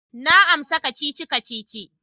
Na amsa kacici-kacici.